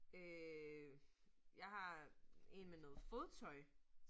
Øh jeg har 1 med noget fodtøj